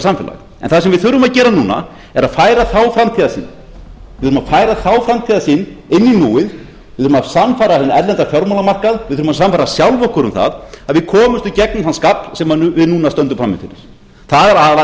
það sem við þurfum að gera núna er að færa þá framtíðarsýn inn í núið við þurfum að sannfæra hinn erlenda fjármálamarkað við þurfum að sannfæra sjálf okkur um það að við komust í gegnum þann skafl sem við núna stöndum frammi fyrir það er